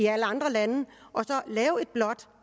alle andre lande